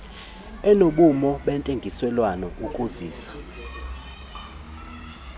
enobume bentengiselwano ukuzisa